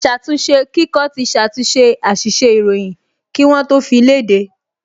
Aṣàtúnṣekíkọ ti ṣàtúnṣe àṣìṣe ìròyìn kí wọ́n tó fi léde